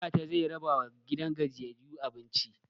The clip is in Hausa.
Ɗantata zai rabawa gidan gajiyayyu abinci